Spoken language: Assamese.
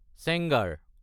চেঙাৰ